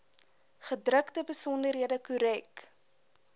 gedrukte besonderhede korrek